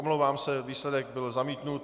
Omlouvám se, výsledek byl zamítnut.